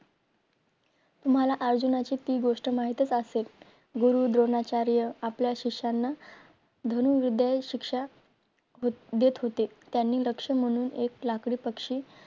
तुम्हाला अर्जुनाची ती गोष्ट माहीतच असेल. गुरु द्रोणाचार्य आपल्या शिष्याना धनुर्वाद विद्दया हि शिक्षा देत होते. त्यानी लक्ष म्हणून एक लाकडी पक्षी